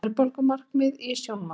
Verðbólgumarkmið í sjónmáli